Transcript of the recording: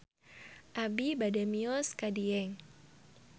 Abi bade mios ka Dieng